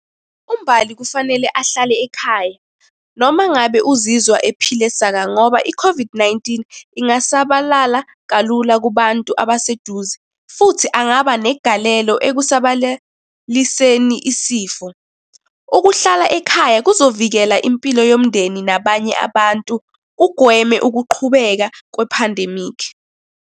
UMbali kufanele ahlale ekhaya noma ngabe uzizwa ephile saka ngoba i-COVID-19, ingasabalala kalula kubantu abaseduze, futhi angaba negalelo ekusabalaliseni isifo. Ukuhlala ekhaya kuzovikela impilo yomndeni nabanye abantu, kugweme ukuqhubeka kwephandemikhi.